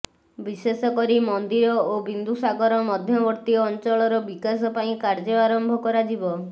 ବିଶେଷ କରି ମନ୍ଦିର ଓ ବିନ୍ଦୁ ସାଗର ମଧ୍ୟବର୍ତ୍ତୀ ଅଞ୍ଚଳର ବିକାଶ ପାଇଁ କାର୍ଯ୍ୟ ଆରମ୍ଭ କରାଯିବ